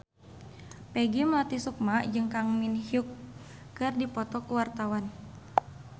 Peggy Melati Sukma jeung Kang Min Hyuk keur dipoto ku wartawan